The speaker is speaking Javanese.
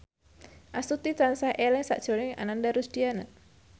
Astuti tansah eling sakjroning Ananda Rusdiana